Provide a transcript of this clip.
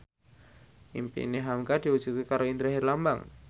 impine hamka diwujudke karo Indra Herlambang